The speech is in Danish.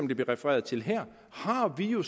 bliver refereret til her har vi jo